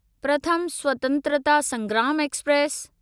प्रथम स्वतंत्रता संग्राम एक्सप्रेस